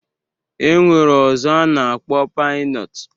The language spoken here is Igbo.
E nwere ọzọ a na-akpọ pinọt